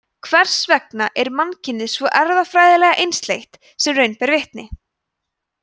hvers vegna er mannkynið svo erfðafræðilega einsleitt sem raun ber vitni